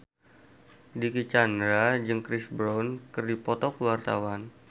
Dicky Chandra jeung Chris Brown keur dipoto ku wartawan